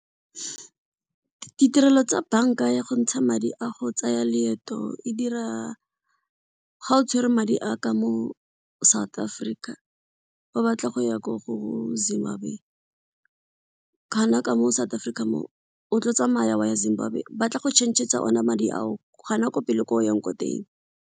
Ditirelo tsa banka ya go ntsha madi a go tsaya leeto e dira ga o tshwere madi a ka mo South Africa ba batla go ya ko go Zimbabwe ka moo South Africa moo o tlo tsamaya wa ya Zimbabwe, ba tla go change-tsa one madi ao gona ko pele ko o yang ko teng.